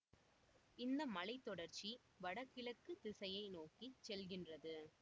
இந்த மலை தொடர்ச்சி வடகிழக்குத் திசையை நோக்கி செல்கின்றது